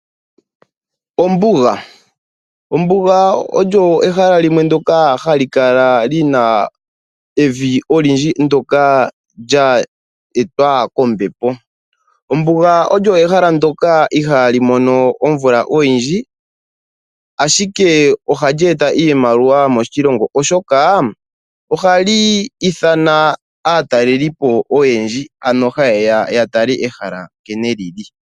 Ombuga Ombuga olyo ehala limwe ndyoka hali kala li na evi olindji ndyoka lya etwa kombepo. Ombuga olyo ehala ndyoka ihaali mono omvula oyindji, ashike ohali eta iimaliwa moshilongo, oshoka ohali ithana aatalelipo oyendji, haye ya ya tale ehala nkene li li.